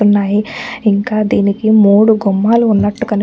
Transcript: ఉన్నాయి ఇంకా దీనికి మూడు గుమ్మాలు ఉన్నటు కనిపి --